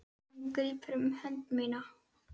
Hún grípur um hönd mína.